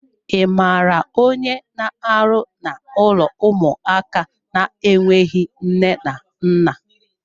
I maara onye n'arụ n'ụlọ ụmụaka na-enweghị nne na nna?